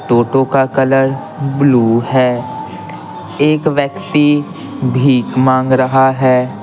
टोटो का colour blue है एक व्यक्ति भीख मांग रहा है।